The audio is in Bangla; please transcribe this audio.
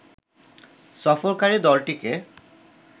সফরকারি দলটিকে